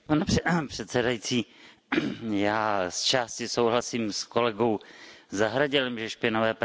Já z části souhlasím s kolegou Zahradilem, že špinavé prádlo se má prát především doma.